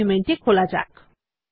document টি খোলা যাক